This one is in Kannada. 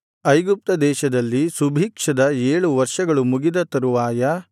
ಐಗುಪ್ತ ದೇಶದಲ್ಲಿ ಸುಭಿಕ್ಷದ ಏಳು ವರ್ಷಗಳು ಮುಗಿದ ತರುವಾಯ